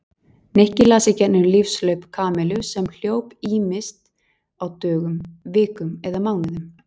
Nikki las í gegnum lífshlaup Kamillu sem hljóp ýmist á dögum, vikum eða mánuðum.